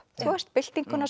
byltinguna